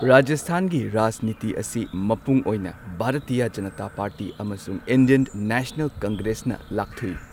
ꯔꯥꯖꯁꯊꯥꯟꯒꯤ ꯔꯥꯖꯅꯤꯇꯤ ꯑꯁꯤ ꯃꯄꯨꯡ ꯑꯣꯏꯅ ꯚꯥꯔꯇꯤꯌꯥ ꯖꯅꯇꯥ ꯄꯥꯔꯇꯤ ꯑꯃꯁꯨꯡ ꯏꯟꯗꯤꯌꯟ ꯅꯦꯁꯅꯦꯜ ꯀꯪꯒ꯭ꯔꯦꯁꯅ ꯂꯥꯛꯊꯨꯏ꯫